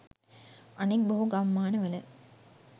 අනෙක් බොහෝ ගම්මාන වල